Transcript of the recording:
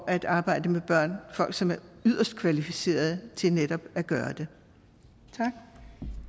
at arbejde med børn folk som er yderst kvalificerede til netop at gøre det